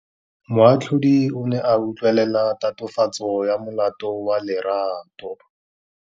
Moatlhodi o ne a utlwelela tatofatsô ya molato wa Lerato.